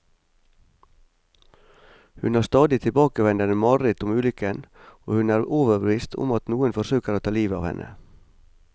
Hun har stadig tilbakevendende mareritt om ulykken, og hun er overbevist om at noen forsøker å ta livet av henne.